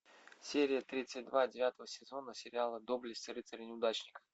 серия тридцать два девятого сезона сериала доблесть рыцаря неудачника